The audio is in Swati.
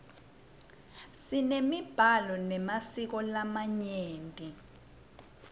simemiblalo memasiko lamanyeni